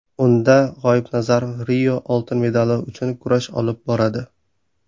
Unda G‘oibnazarov Rio oltin medali uchun kurash olib boradi.